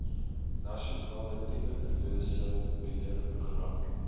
nasionale tuberkulose beheerprogram